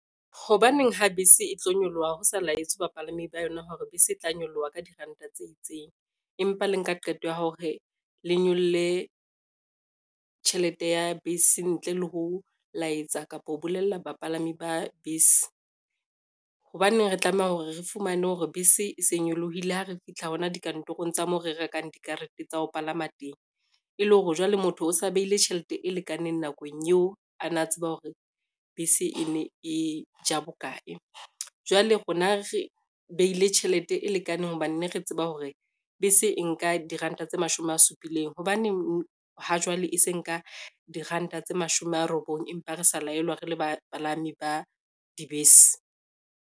Hobaneng ha bese e tlo nyoloha ho sa laetswe bapalami ba yona hore bese e tla nyoloha ka diranta tse itseng, empa le nka qeto ya hore le nyolle tjhelete ya bese ntle le ho laetsa kapo ho bolella bapalami ba bese. Hobaneng re tlameha hore re fumane hore bese e se nyolohile ha re fihla hona dikantorong tsa mo re rekang dikarete tsa ho palama teng, e le hore jwale motho o sa behile tjhelete e lekaneng nakong eo a na tseba hore bese e ne e ja bokae. Jwale rona re behile tjhelete e lekaneng hobane ne re tseba hore bese e nka diranta tse mashome a supileng, hobaneng ha jwale e se nka diranta tse mashome a robong empa re sa laelwa re le bapalami ba dibese.